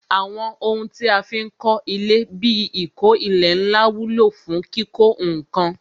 Àwọn ohun tí a fi ń kọ ilé bí ìkó ilẹ̀ ńlá wúlò fún kíkó ǹkan